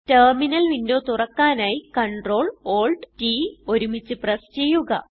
terminal window തുറക്കാനായി Ctrl Alt T ഒരുമിച്ച് press ചെയ്യുക